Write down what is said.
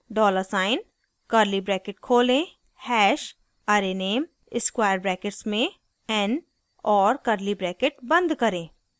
dollar sign $ curly bracket खोलें hash # arrayname square brackets में n और curly bracket बंद करें